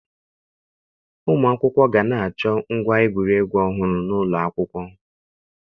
Ụmụ akwụkwọ ga na-achọ ngwa egwuregwu ọhụrụ n'ụlọ akwụkwọ